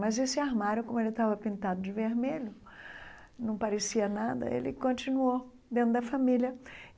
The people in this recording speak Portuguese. Mas esse armário, como ele estava pintado de vermelho, não parecia nada, ele continuou dentro da família.